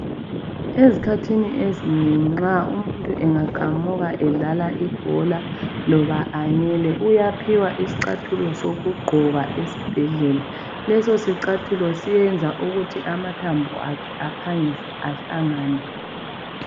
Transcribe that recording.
Esikhathini ezinengi nxaumuntu angaqamuka nxa edlala ibhola kumbe anganyela uyaphiwa isicathulo sokugqoka esibhedlela. Leso sicathulo siyenza ukuthi amathambo akhe ahlangane.